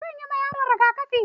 Eh zanyi ma yaron rigakafi.